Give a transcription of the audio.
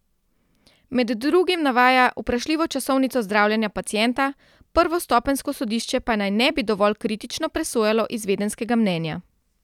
Med drugim navaja vprašljivo časovnico zdravljenja pacienta, prvostopenjsko sodišče pa naj ne bi dovolj kritično presojalo izvedenska mnenja.